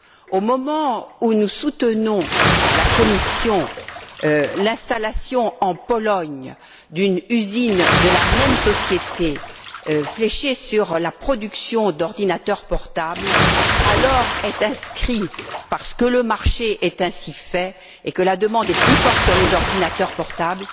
Au moment où nous soutenons, à la Commission, l'installation en Pologne d'une usine de la même société axée sur la production d'ordinateurs portables, alors est annoncée, à ce moment là parce que le marché est ainsi fait et que la demande est plus forte sur les ordinateurs portables